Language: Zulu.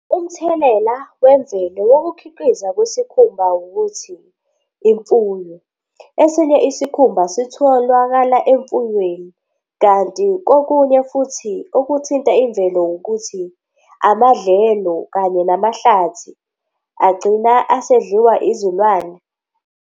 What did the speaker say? Umthelela wemvelo wokukhiqiza kwesikhumba ukuthi imfuyo esinye isikhumba sitholwakala emfuyweni kanti kokunye futhi okuthinta imvelo wukuthi amadlelo kanye namahlathi agcina asedliwa izilwane.